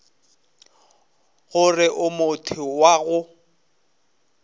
gore o motho wa go